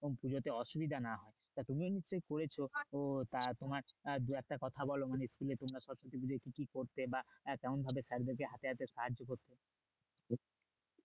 পুজোতে অসুবিধা না হয় তা তুমি নিশ্চয় করেছো তো তার তোমার আহ দু একটা কথা বলো মানে school এর ছাত্র জীবনে কি করতে? বা আহ কেমন ভাবে sir দেরকে হাতে হাতে সাহায্য করতে